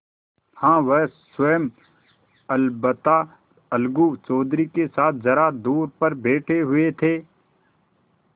हाँ वह स्वयं अलबत्ता अलगू चौधरी के साथ जरा दूर पर बैठे हुए थे